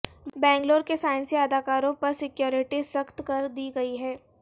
بنگلور کے سائنسی اداروں پر سکیورٹی سخت کردی گئی ہے